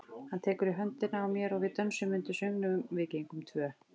Hann tekur í höndina á mér og við dönsum undir söngnum Við gengum tvö.